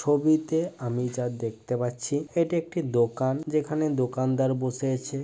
ছবিতে আমি যা দেখতে পাচ্ছি এটি একটি দোকান যেখানে দোকানদার বসে আছে।